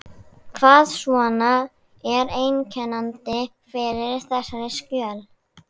Hvað svona er einkennandi fyrir þessi skjöl?